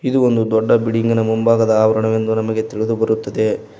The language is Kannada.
ಇದು ಒಂದು ದೊಡ್ಡ ಬಿಲ್ಡಿಂಗಿನ ಮುಂಭಾಗದ ಅವರಣವೆಂದು ನಮಗೆ ತಿಳಿದುಬರುತ್ತದೆ.